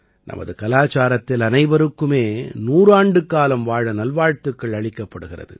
நமது கலாச்சாரத்தில் அனைவருக்குமே 100 ஆண்டுக்காலம் வாழ நல்வாழ்த்துக்கள் அளிக்கப்படுகிறது